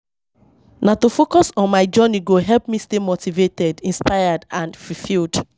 Na to focus on my journey go help me stay motivated, inspired and fulfilled.